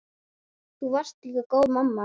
Þú varst líka góð mamma.